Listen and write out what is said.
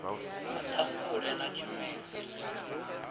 ha ṱhangule na tshimedzi ḽi